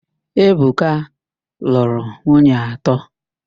Ebuka lụrụ nwunye atọ.